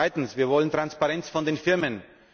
Zweitens Wir wollen Transparenz von den Firmen.